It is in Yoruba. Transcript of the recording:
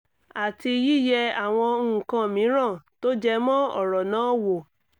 àti yíyẹ àwọn nǹkaǹ mìíràn tó jẹ mọ́ ọ̀rọ̀ náà wò